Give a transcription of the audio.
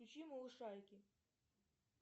включи малышарики